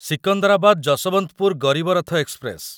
Secunderabad Yesvantpur Garib Rath express